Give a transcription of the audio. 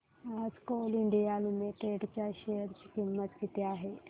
आज Coal India Limited च्या share ची किंमत किती आहे